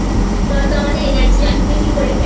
নয়তো আমাদের Energy আসবে কি করে